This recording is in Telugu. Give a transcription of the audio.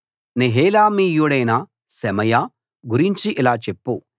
నెహెలామీయుడైన షెమయా గురించి ఇలా చెప్పు